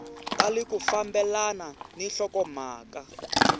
tali ku fambelana ni nhlokomhaka